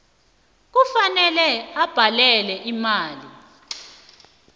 kufanele abhadele imali